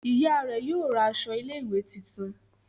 Oya rẹ yóò ra aṣọ ilé ìwé títún.